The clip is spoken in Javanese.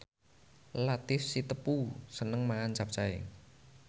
Latief Sitepu seneng mangan capcay